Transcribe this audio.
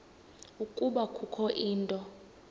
ukuba kukho into